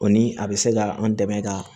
O ni a bɛ se ka an dɛmɛ ka